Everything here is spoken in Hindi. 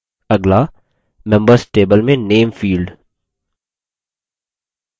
अगला members table में name field